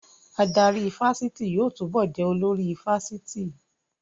Adarí ifásitì yóò túbọ̀ jẹ́ olórí ifásitì